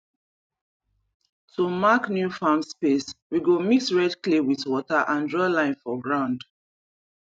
to mark new farm space we go mix red clay with water and draw line for ground